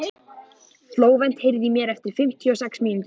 Flóvent, heyrðu í mér eftir fimmtíu og sex mínútur.